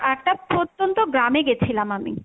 একটা প্রত্যন্ত গ্রামে গেছিলাম আমি।